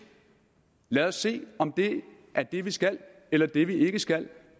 lad os se om det er det vi skal eller ikke det vi skal